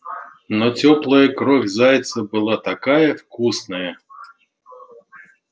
но тёплая кровь зайца была такая вкусная